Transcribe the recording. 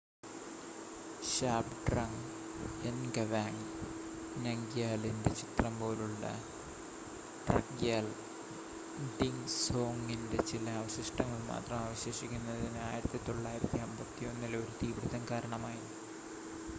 ഷാബ്ഡ്രങ് എൻഗവാങ് നംഗ്യാലിന്റെ ചിത്രം പോലുളള ഡ്രക്ഗ്യാൽ ഡിസോങിന്റെ ചില അവശിഷ്ടങ്ങൾ മാത്രം അവശേഷിക്കുന്നതിന്,1951-ലെ ഒരു തീപിടുത്തം കാരണമായി